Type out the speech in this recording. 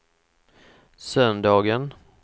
söndagen